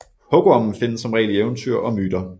Hugormen findes som regel i eventyr og myter